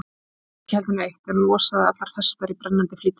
Ég sagði ekki heldur neitt, en losaði allar festar í brennandi flýti.